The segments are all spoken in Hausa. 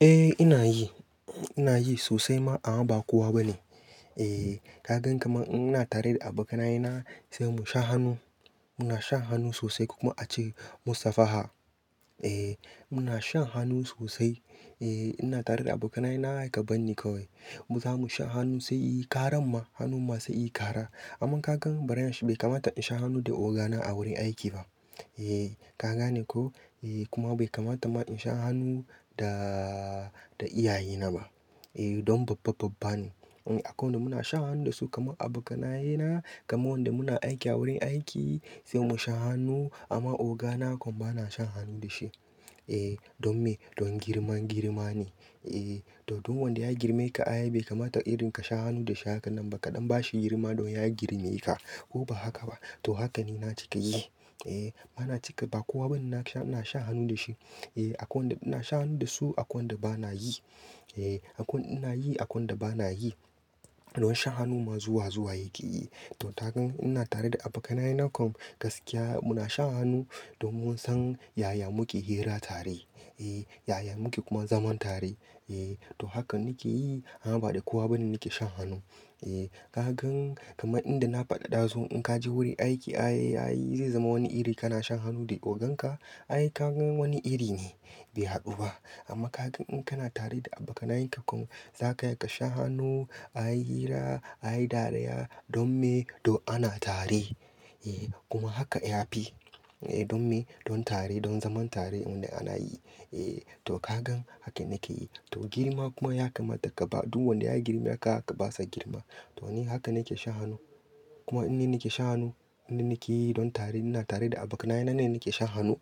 Eh ina yi, ina yi sosai amma ba kowa bane. Eh kagan kamar ina tare da abokanaye na sai mu sha hanu, muna shan hanu sosai kuma ace mu safa ha. Eh muna shan hanu sosai. Eh ina tare da abokanaye na haka ban nikai. Mu zamu sha hanu sai yayi karan ma, hanu masu yi kara. Amma kagan bariyan shi bai kamata in sha hanu da ogana a wurin aiki ba. Eh kaga ne ko? Eh kuma bai kamata ma in sha hanu da, da iyaye na ba. Eh don babba babba ne. Akai wanda muna shan hanu dasu kamar abokanaye na, kamar wanda muna aiki a wurin aiki sai mu sha hanu amma ogana kan bana shan hanu da shi. Eh don me? Don girma girma ne. Eh to duk wanda ya girme ka a yaye bai kamata irin ka sha hanu da shi haka nan ba kadan bashi girma don ya girme ka. Ko ba haka ba? To haka ne na cika yi. Eh bana cika ba kowa bane na sha, na sha hanu da shi. Eh akwai wanda ina shan hanu dasu, akwai wanda bana yi. Eh akwai ina yi, akwai wanda bana yi. Don shan hanu ma zuwa zuwa yake yi. To kagan ina tare da abokanaye na kan gaskiya muna shan hanu don mun san yaya muke hira tare. Eh yaya muke kuma zaman tare. Eh to haka nake yi amma ba da kowa bane nake shan hanu. Eh kagan kamar inda na faɗa ɗazun in ka je wurin aiki, aye aye zai zama wani iri kana shan hanu da oganka? Aye kagan wani iri ne, bai haɗu ba. Amma kagan in kana tare da abokanaye ka kan zaka haka sha hanu, aye hira, aye dariya don me? Don ana tare. Eh kuma haka ya fi. Eh don me? Don tare, don zaman tare wanda ana yi. Eh to kagan haka nake yi. To girma kuma ya kamata ka ba duk wanda ya girme ka basa girma. To ni haka nake sha hanu. Kuma in ni nake sha hanu, in ni ke yi don tare ina tare da abokanaye na ne nake sha hanu.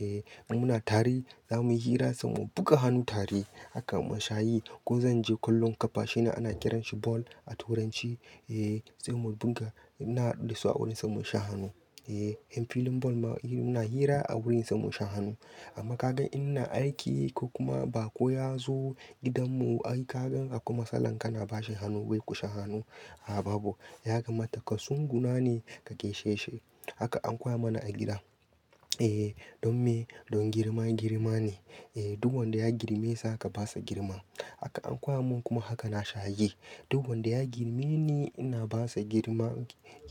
Eh in muna tare zamuyi hira sai mu buga hanu tare haka mu shayi ko zan je kallon kafa shine ana kiranshi ball a turanci. Eh sai mu buga, na haɗu da su a wurin sai mu sha hanu. Eh yan filin ball muna hira a wurin sai mu sha hanu. Amma kagan ina aiki ko kuma bako ya zo gidan mu, ai kagan haka kuma salon kana bashi hanu bai ku sha hanu. A a babu. Ya kamata kasunguna ne ka gaisheshi. Haka an koya mana a gida. Eh don me? Don girma girma ne. Eh duk wanda ya girme sa ka basa girma. Haka an koya mun kuma haka na shayi. Duk wanda ya girme ni ina basa girma,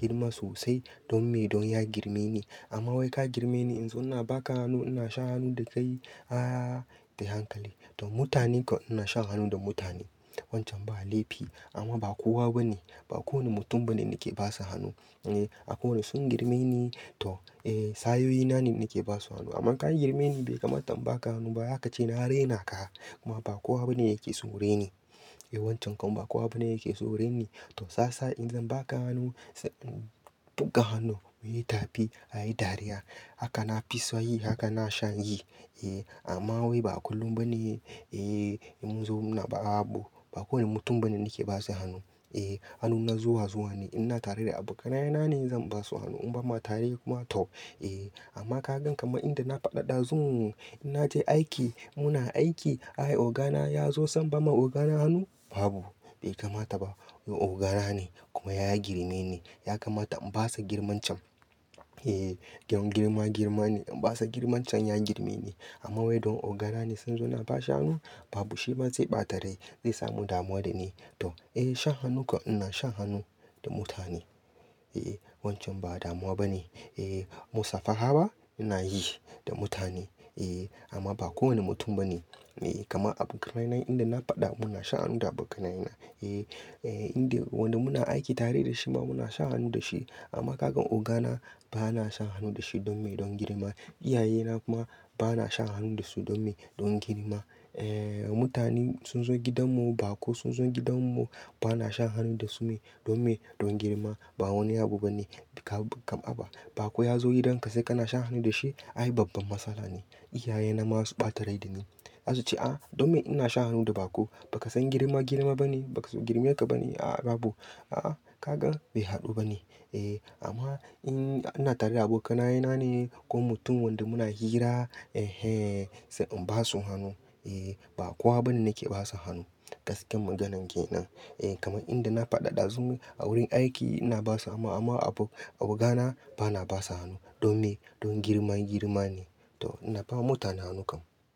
girma sosai. Don me? Don ya girme ni. Amma wai ka girme ni in zo ina baka hanu, ina sha hanu da kai, a a bai hankali. To mutane kan ina shan hanu da mutane. Wancan ba laifi amma ba kowa bane. Ba kowane mutum bane nake basa hanu. Eh akwai wanda sun girme ni to eh sayoyina ne nake basu hanu. Amma ka girme ni bai kamata in baka hanu ba zaka ce na rena ka kuma ba kowa bane yake so ren ni. Eh wancan kan ba kowa bane yake so ren ni. To sasa in zan baka hanu sai buga hanu muyi ta fi, aye dariya. Haka na fi so yi, haka na shan yi. Eh amma wai ba a kullum bane. Eh mun zo mun raba abu. Ba kowane mutum bane nake basa hanu. Eh hanu na zuwa zuwa ne. Ina tare da abokanaye na ne zan basu hanu in bamu tare kuma tau. Eh amma kagan kamar inda na faɗa ɗazun in naje aiki, muna aiki, aye ogana ya zo san bama ogana hanu, babu. Bai kamata ba. Don ogana ne kuma ya girme ni. Ya kamata in basa girmancan. Eh don girma girma ne. In basa girmancan in ya girme ni ne. Amma wai don ogana ne sun zo na bashi hanu, babu shi ma zai ɓata rai, zai samu damuwa da ni. To eh shan hanu kan ina shan hanu da mutane. Eh wancan ba damuwa bane. Eh mu safa ha ba? Ina yi da mutane. Eh amma ba kowane mutum bane. Eh kamar abokanaye na inda na faɗa muna sha hanu da abokanaye na. Eh eh inda wanda muna aiki tare da shi ma muna sha hanu da shi. Amma kagan ogana bana shan hanu da shi don me? Don girma. Iyaye na kuma bana shan hanu da su don me? Don girma. Eh mutane sun zo gidan mu, bako sun zo gidan mu bana shan hanu da su me? Don me? Don girma. Ba wani abu bane. Bika, kam aba. Bako ya zo gidan ka sai kana shan hanu da shi, ai babban matsala ne. Iyaye na ma su ɓata rai da ni. Za su ce a don me ina shan hanu da bako? Baka san girma girma bane? Baka so girme ka bane? A a babu. A a kagan bai haɗu bane. Eh amma in ina tare da abokanaye na ne ko mutum wanda muna hira, eh eh sai in basu hanu. Eh ba kowa bane nake basa hanu. Gaskiyar maganan ke nan. Eh kamar inda na faɗa ɗazun a wurin aiki ina basa amma amma abu, ogana bana basa hanu. Don me? Don girma girma ne. To ina bawa mutane hanu kan.